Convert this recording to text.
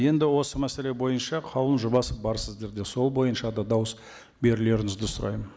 енді осы мәселе бойынша қаулының жобасы бар сіздерде сол бойынша да дауыс берулеріңізді сұраймын